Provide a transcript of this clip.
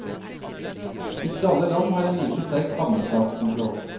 Ikke alle land har like sterk havnestatskontroll.